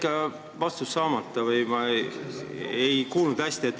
Mul jäi vastus saamata või ma ei kuulnud hästi.